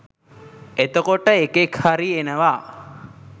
එතකොට එකෙක් හරි එනවා